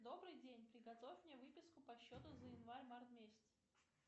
добрый день приготовь мне выписку по счету за январь март месяц